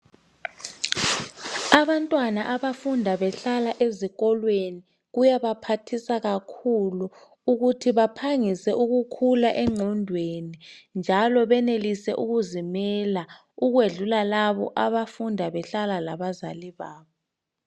Abantwana abafunda behlala ezikolweni , kuyabaphathisa kakhulu ukuthi baphangise ukukhula engqondweni njalo benelise ukuzimela ukwedlula labo abafunda behlala labazali babo